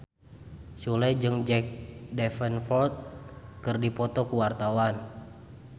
Sule jeung Jack Davenport keur dipoto ku wartawan